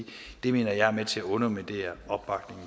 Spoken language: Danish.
det vil være med til at underminere